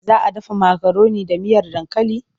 Za a dafa makaroni da miyar dankali?